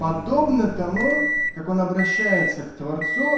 подобно тому как он обращается к творцу